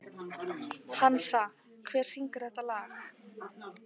Hansa, hver syngur þetta lag?